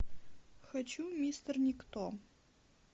хочу мистер никто